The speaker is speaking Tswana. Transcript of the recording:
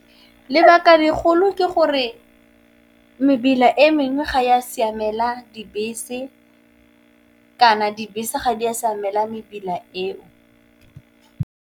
Lebaka lekgolo ke gore mebila e mengwe ga ya siamela dibese kana, dibese ga di a siamela mebila eo.